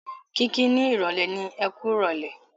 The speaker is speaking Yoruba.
Kiki ni ìrọ̀lẹ́ ni "Ẹkú ìrọ̀lẹ́".